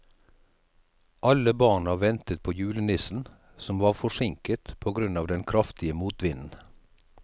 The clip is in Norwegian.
Alle barna ventet på julenissen, som var forsinket på grunn av den kraftige motvinden.